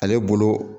Ale bolo